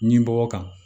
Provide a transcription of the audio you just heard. Ɲimɔgɔ kan